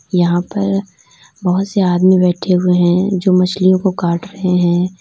यहां पर बहोत से आदमी बैठे हुए हैं जो मछलियों को काट रहे हैं।